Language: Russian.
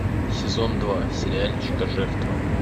сезон два сериальчика жертва